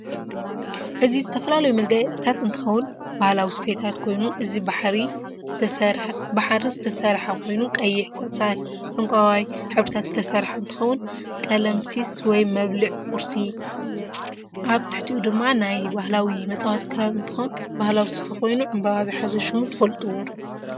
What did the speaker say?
እዚ ዝተፈላለዩ መጋያፅታት እንትከውን ባህላዊ ስፍታት ኮይኑ እዚ ብሓሪ ዝተሰርሐ ኮይኑ ቀይሕ ፣ቆፃል፣ ዕንቃይ ሕብሪታት ዝተሰርሐ እንትከውን ቀለምሲስ ወይ መብልዕ ቁርሲ ኣብ ትሕትኡ ድማ ናይ በህላዊ መፃወቲ ኪራር እንትኮን ባህላዊ ሰፈ ኮይኑ ዕንበባ ዝሓዘ ሽሙ ትፈልጥዎዶ?